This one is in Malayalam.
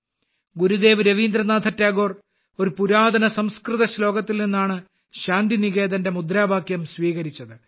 ഗുരുദേവ് രവീന്ദ്രനാഥ ടാഗോർ ഒരു പുരാതന സംസ്കൃത ശ്ലോകത്തിൽ നിന്നാണ് ശാന്തിനികേതൻ എന്ന മുദ്രാവാക്യം സ്വീകരിച്ചത്